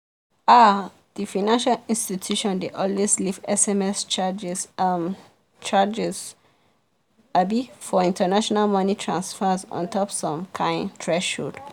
um the financial institution dey always leave sms charges um charges abi for international money transfers ontop some kind threshold.